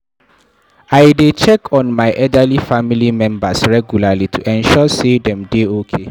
I dey check on my elderly family members regularly to ensure sey dem dey okay.